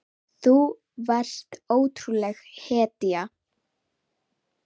Þú varst ótrúleg hetja.